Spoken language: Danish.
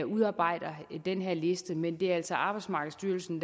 udarbejder den her liste men det er altså arbejdsmarkedsstyrelsen